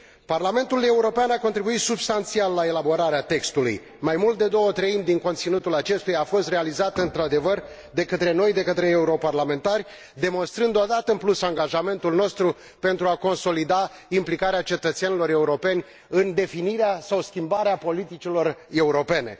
Parlamentul European a contribuit substanțial la elaborarea textului mai mult de două treimi din conținutul acestuia a fost realizat, într adevăr, de către noi, de către europarlamentari, demonstrând o dată în plus angajamentul nostru pentru a consolida implicarea cetățenilor europeni în definirea sau schimbarea politicilor europene.